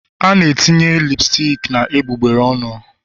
A na-etinye lipstic na egbugbere ọnụ